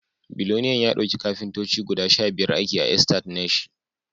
Billoliyan ya dauki Kafintoci guda Sha biyar aiki a estate nashi